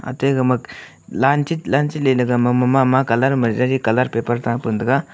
ate gaga line chit line chitley ley gama mama mama colour ma jaji colour paper tham pu ning tega.